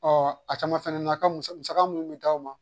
Ɔ a caman fɛnɛ na ka musa musaka minnu bɛ d'aw ma